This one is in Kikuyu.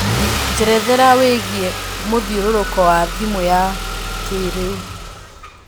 njerethera wĩigie mũthiũrũrũko wa thimũ ya kĩrĩũ